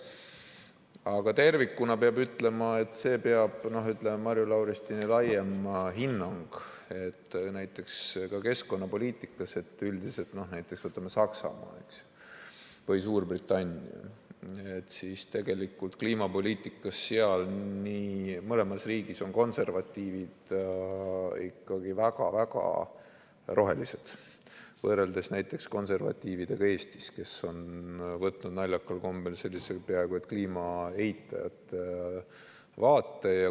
Aga tervikuna peab ütlema selle Marju Lauristini laiema hinnangu kohta, et näiteks ka keskkonnapoliitikas üldiselt, võtame Saksamaa või Suurbritannia, siis kliimapoliitikas on mõlemas riigis konservatiivid ikkagi väga-väga rohelised võrreldes näiteks konservatiividega Eestis, kes on võtnud naljakal kombel peaaegu et kliima eitajate vaate.